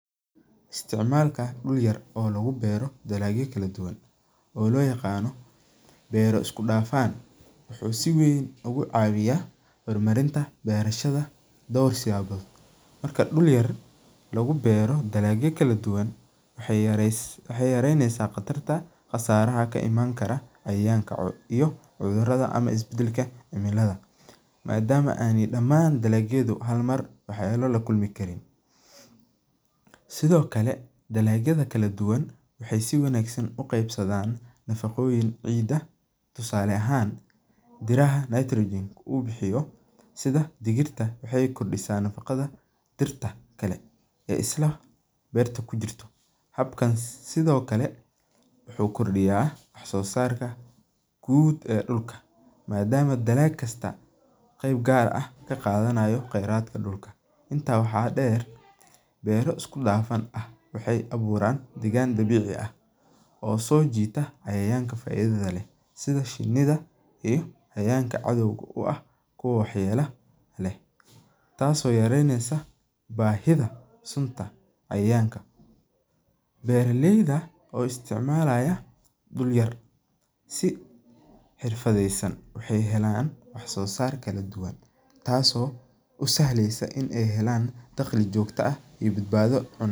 Isticmalka duur yar oo lagubero dalagyo kaladuduwan oo loyagano bero iskudafan, wuxu si weyn ogucawiya hormarinta berashada duur siyabo, marka duur yar lagubero dalagyo kaladuwan waxay yareyneysa qatar qasaraha kaimankaro cayayanka iyo cudurada ama isbadalka cimilada, maadamu aynu daman dalagyada harmar waxyelo lakulmi kariin, sidhokale dalagyada kaladuwan waxay si wanagsan ugebsadan nafagoyin ciid ah, tusaale ahan biraha nitrogen u bihiyo sidha digirta waxay kordisa nafagada diirta kale ee isla bertu kujirto, sidhokale wuxu kordiya wax sosarka guud ee dulka, maadamu dalaq kasta qeeb gaar ah kagadanayo qeratka dulka, inta waxa deer bero iskudafan ah waxay aburan degan dabici ah, oo sojita cayayanka faidada leh, sidhi shinida iyo cayayanka cadow kuah oo waxyela leh, taas oo yareyneysa bahida sunta iyo cayayanka, beraleyda oo isticmalaya dul yar si hirfadeysan waxay helan waxsosar kaladuwan taas oo usahleysa in ay helan daqli jogto ah iyo badbado.